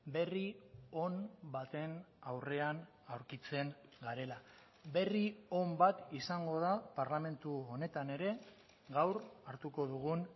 berri on baten aurrean aurkitzen garela berri on bat izango da parlamentu honetan ere gaur hartuko dugun